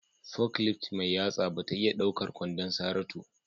forklift mai yatsa ba ta iya ɗaukar kwandon Saratu.